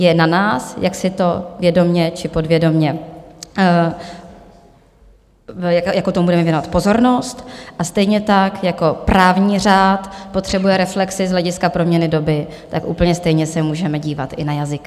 Je na nás, jak si to vědomě či podvědomě - jakou tomu budeme věnovat pozornost, a stejně tak jako právní řád potřebuje reflexi z hlediska proměny doby, tak úplně stejně se můžeme dívat i na jazyk.